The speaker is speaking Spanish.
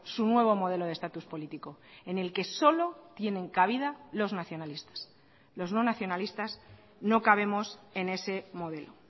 su nuevo modelo de estatus político en el que solo tienen cabida los nacionalistas los no nacionalistas no cabemos en ese modelo